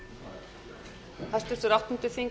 á hvaða forsendum það væri gert